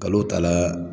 Kalo taa la